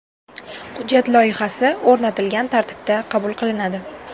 Hujjat loyihasi o‘rnatilgan tartibda qabul qilinadi.